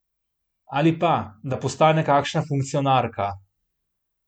Ali pa, da postane kakšna funkcionarka?